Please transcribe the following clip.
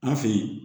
An fɛ yen